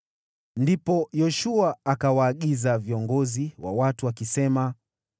Ndipo Yoshua akawaagiza maafisa wa watu akisema,